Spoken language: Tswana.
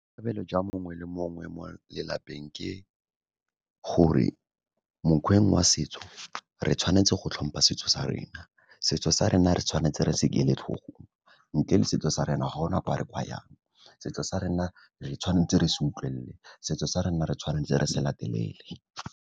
Tebelo jwa mongwe le mongwe mo lelapeng ke gore mokgweng wa setso, re tshwanetse go tlhompha setso sa rena. Setso sa rena re tshwanetse re se eletlhogo. Ntle le setso sa rena ga gona kwa re ka yang, setso sa rena re tshwanetse re sa utlwelele, setso sa rena re tshwanetse re se latelele.